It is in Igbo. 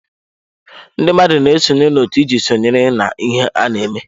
Ndị mmadụ na-esonye na otu iji sonyere na ihe ana-eme.